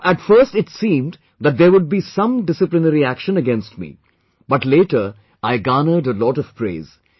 So, at first it seemed that there would be some disciplinary action against me, but later I garnered a lot of praise